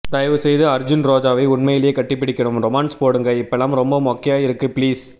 தயவூ செய்து அர்ஜுன் ரோஜாவ உண்மையிலியே கட்டி பிடிக்கனும் ரோமான்ஸ் போடுங்க இப்பல்லாம் ரொம்ப மோக்கையா இருக்கு பீலிஸ்